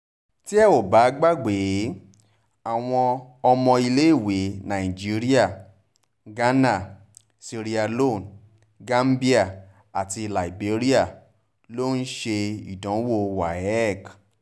tẹ́ ò bá gbàgbé àwọn ọmọ ilé iwé nàìjíríà ghana sierra leone gàmíà àti liberia ló ń ṣe ìdánwò waec